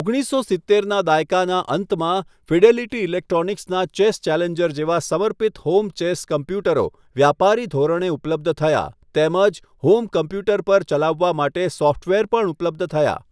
ઓગણીસો સિત્તેરના દાયકાના અંતમાં, ફિડેલિટી ઈલેક્ટ્રોનિક્સના ચેસ ચેલેન્જર જેવા સમર્પિત હોમ ચેસ કોમ્પ્યુટરો વ્યાપારી ધોરણે ઉપલબ્ધ થયા, તેમજ હોમ કોમ્પ્યુટર પર ચલાવવા માટે સોફ્ટવેર પણ ઉપલબ્ધ થયા.